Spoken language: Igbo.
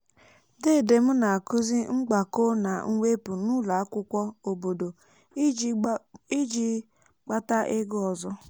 dede m na-akụzi mgbakọ na mwepụ n'ụlọ akwụkwọ obodo iji kpátá ego ọzọ